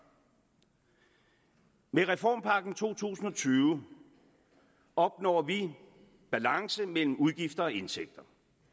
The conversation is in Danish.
med reformpakken to tusind og tyve opnår vi balance mellem udgifter og indtægter